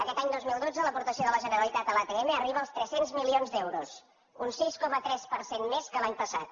aquest any dos mil dotze l’aportació de la generalitat a l’atm arriba als tres cents milions d’euros un sis coma tres per cent més que l’any passat